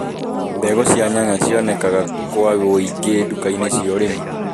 Mbegu cia nyanya cionekanaga kũa wũingĩ duka-inĩ cia ũrimi